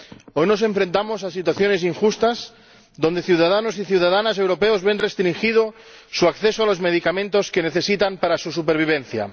Hoy nos enfrentamos a situaciones injustas, en las que ciudadanos y ciudadanas europeos ven restringido su acceso a los medicamentos que necesitan para su supervivencia.